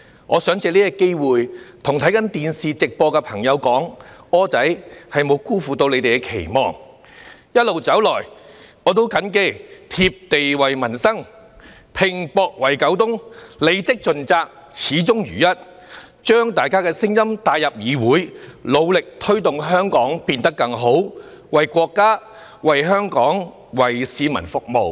我想藉此機會，向正在收看電視直播的朋友說："柯仔"沒有辜負你們的期望，一路走來，我也謹記"貼地為民生，拚搏為九東"，履職盡責，始終如一，把大家的聲音帶入議會，努力推動香港變得更好，為國家、為香港、為市民服務。